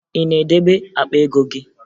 Ị na-edebe akpa ego gị?